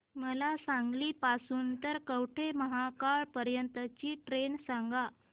मला सांगली पासून तर कवठेमहांकाळ पर्यंत ची ट्रेन सांगा